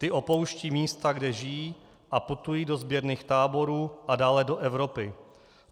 Ty opouštějí místa, kde žijí, a putují do sběrných táborů a dále do Evropy.